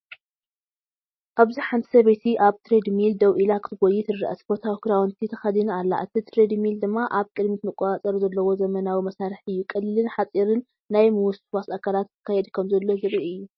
ኣብዚ ሓንቲ ሰበይቲ ኣብ ትሬድሚል ደው ኢላ ክትጎዪ ትርአ። ስፖርታዊ ክዳውንቲ ተኸዲና ኣላ፡ እቲ ትሬድሚል ድማ ኣብ ቅድሚት መቆጻጸሪ ዘለዎ ዘመናዊ መሳርሒ እዩ። ቀሊልን ሓጺርን ናይ ምውስዋስ ኣካላት ክካየድ ከምዘሎ ዘርኢ እዩ።